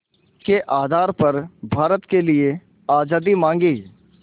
के आधार पर भारत के लिए आज़ादी मांगी